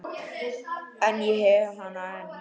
En ég hef hana enn.